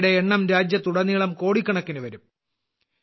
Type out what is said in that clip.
അവയുടെ എണ്ണം രാജ്യത്തുടനീളം കോടിക്കണക്കിന് വരും